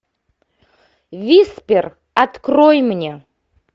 виспер открой мне